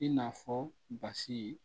I n'a fɔ basi ye